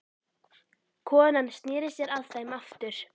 Konan sneri sér að þeim aftur.